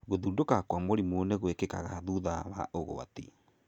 Gũthũndũka kwa mũrimũ nĩ gwĩkikaga thutha wa ũgwati.